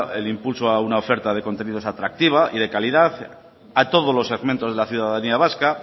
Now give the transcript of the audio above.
el impulso a una oferta de contenidos atractiva y de calidad a todos los segmentos de la ciudadanía vasca